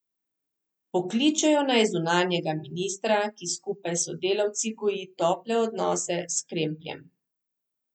Pokličejo naj zunanjega ministra, ki skupaj s sodelavci goji tople odnose s Kremljem.